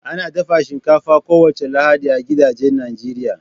Ana dafa shinkafa kowace Lahadi a gidajen Najeriya